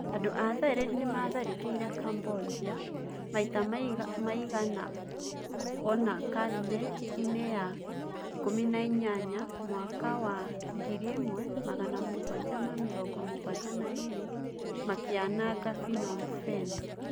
Andũ a Thailand nĩ maatharĩkĩire Cambodia maita maigana ũna karine-inĩ ya 18 na mwaka wa 1772 makĩananga Phnom Phen.